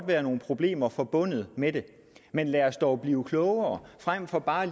være nogle problemer forbundet med det men lad os dog blive klogere frem for bare